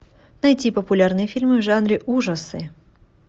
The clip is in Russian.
найти популярные фильмы в жанре ужасы